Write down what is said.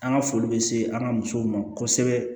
An ka foli bɛ se an ka musow ma kosɛbɛ